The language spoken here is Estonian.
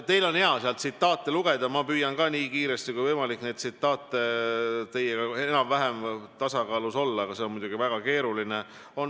Teil on hea seal tsitaate lugeda, ma püüan ka nii kiiresti kui võimalik teiega enam-vähem tasakaalus olla, aga see on muidugi väga keeruline.